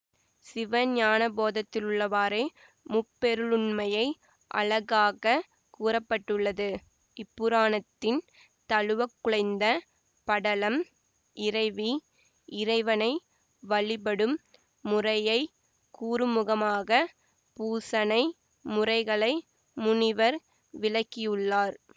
சிவஞானபோதத்திலுள்ளவாறே முப்பொருளுண்மையை அழகாகக் கூற பட்டுள்ளது இப்புராணத்தின் தழுவக்குழைந்த படலம் இறைவி இறைவனை வழிபடும் முறையை கூறுமுகமாகப் பூசனை முறைகளை முனிவர் விளக்கியுள்ளார்